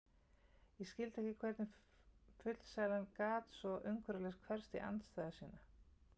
Ég skildi ekki hvernig fullsælan gat svo umsvifalaust hverfst í andstæðu sína.